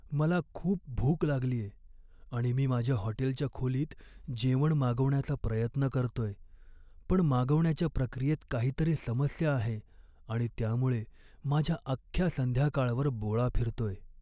मला खूप भूक लागलीये, आणि मी माझ्या हॉटेलच्या खोलीत जेवण मागवण्याचा प्रयत्न करतोय, पण मागवण्याच्या प्रक्रियेत काहीतरी समस्या आहे आणि त्यामुळे माझ्या अख्ख्या संध्याकाळवर बोळा फिरतोय.